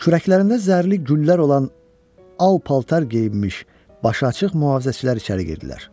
Kürəklərində zərli güllər olan al paltar geyinmiş, başı açıq mühafizəçilər içəri girdilər.